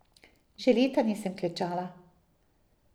Že leta nisem klečala.